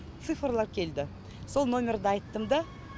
цифрлар келді сол номерді айттым да